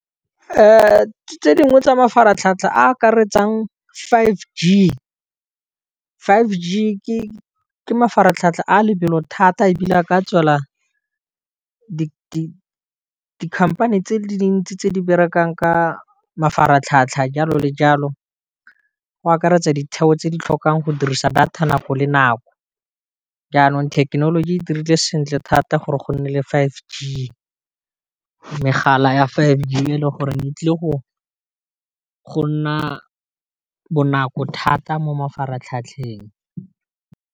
Tse dingwe tsa mafaratlhatlha a akaretsang five g, five g ke mafaratlhatlha a lebelo thata e bile a ka tswela di-company tse di le dintsi tse di berekang ka mafaratlhatlha jalo le jalo, go akaretsa ditheo tse di tlhokang go dirisa data nako le nako, jaanong thekenoloji e dirile sentle thata gore go nne le five g, megala ya five g e leng gore e tlile go go nna bonako thata mo mafaratlhatlheng.